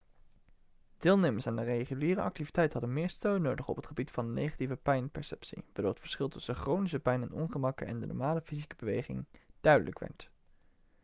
deelnemers aan de reguliere activiteit hadden meer steun nodig op het gebied van negatieve pijnperceptie waardoor het verschil tussen chronische pijn en ongemakken en de normale fysieke beweging duidelijk werd